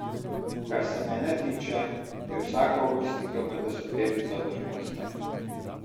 Kar se mene tiče, je vsaka uvrstitev med deseterico vrhunska.